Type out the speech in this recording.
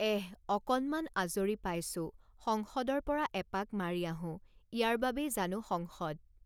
এঃ অকণমান আজৰি পাইছোঁ সংসদৰ পৰা এপাক মাৰি আহোঁ, ইয়াৰ বাবেই জানো সংসদ?